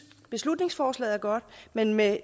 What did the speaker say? beslutningsforslaget er godt men med